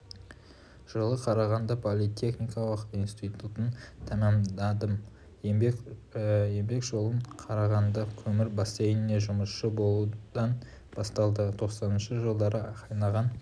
жылы қарағанды политехникалық институтын тәмамдадым еңбек жолым қарағанды көмір бассейнінде жұмысшы болудан басталды тоқсаныншы жылдары қайнаған